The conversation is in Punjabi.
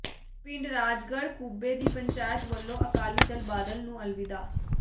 ਪਿੰਡ ਰਾਜਗੜ੍ਹ ਕੁੱਬੇ ਦੀ ਪੰਚਾਇਤ ਵੱਲੋਂ ਅਕਾਲੀ ਦਲ ਬਾਦਲ ਨੂੰ ਅਲਵਿਦਾ